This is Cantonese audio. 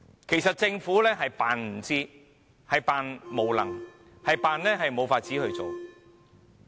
其實政府是裝作不知，裝作無能，裝作無法處理問題。